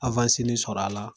sɔrɔ a la